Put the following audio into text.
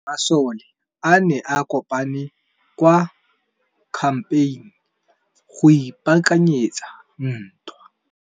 Masole a ne a kopane kwa kampeng go ipaakanyetsa ntwa.